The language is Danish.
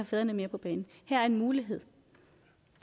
fædrene mere på banen her er en mulighed